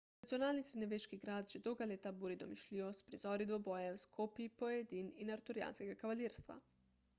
tradicionalni srednjeveški grad že dolga leta buri domišljijo s prizori dvobojev s kopji pojedin in arturijanskega kavalirstva